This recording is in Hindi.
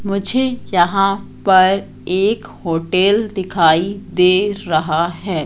मुझे यहां पर एक होटल दिखाई दे रहा है।